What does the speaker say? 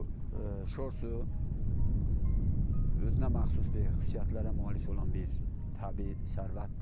Bu şor su özünə məxsus bir xüsusiyyətlərə malik olan bir təbii sərvətdir.